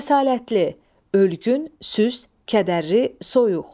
Kəsalətli, ölgün, süst, kədərli, soyuq.